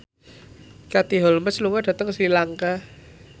Katie Holmes lunga dhateng Sri Lanka